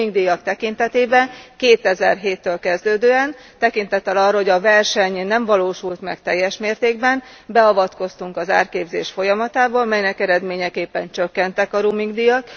A roaming díjak tekintetében 2007 től kezdődően tekintettel arra, hogy a verseny nem valósult meg teljes mértékben beavatkoztunk az árképzés folyamatába, melynek eredményeképpen csökkentek a roaming díjak.